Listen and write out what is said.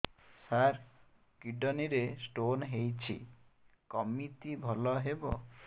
ସାର kidney ରେ stone ହେଇଛି କମିତି ଭଲ ହେବ